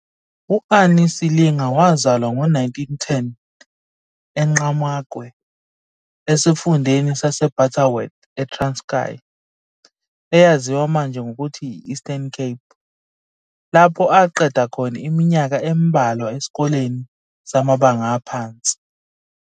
U-Annie Silinga wazalwa ngo-1910 eNqqamakwe esifundeni saseButterworth e-Transkei, eyaziwa manje ngokuthi yi- Eastern Cape, lapho aqeda khona iminyaka embalwa esikoleni samabanga aphansi.